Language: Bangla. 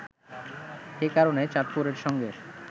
এ কারণে চাঁদপুরের সঙ্গে